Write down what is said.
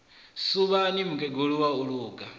suvhani mukegulu wa u luga